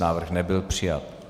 Návrh nebyl přijat.